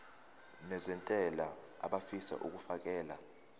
nezentela abafisa uukfakela